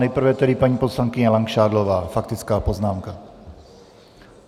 Nejprve tedy paní poslankyně Langšádlová, faktická poznámka.